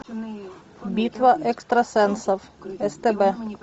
битва экстрасенсов стб